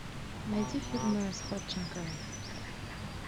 найти фильмы с ходченковой